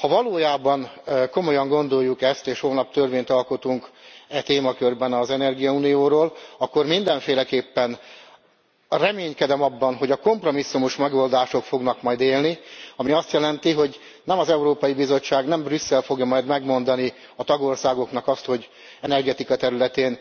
ha valóban komolyan gondoljuk ezt, és holnap törvényt alkotunk e témakörben az energiaunióról, akkor mindenféleképpen reménykedem abban, hogy a kompromisszumos megoldások fognak majd élni, ami azt jelenti, hogy nem az Európai Bizottság, nem Brüsszel fogja majd megmondani a tagországoknak azt, hogy az energetika területén